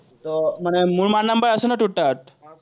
মোৰ মাৰ number আছে নাই তোৰ তাত?